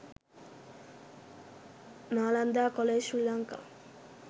nalanda college sri lanka